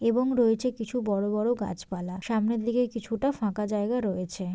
এবং রয়েছে কিছু বড়ো বড়ো গাছ পালা। সামনের দিকে কিছুটা ফাঁকা জায়গা রয়েছে।